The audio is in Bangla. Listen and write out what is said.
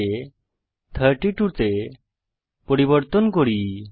42 কে 32 তে পরিবর্তন করি